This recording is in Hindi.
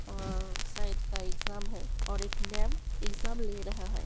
और शायद का एग्जाम है और एक मैम एग्जाम ले रहा है।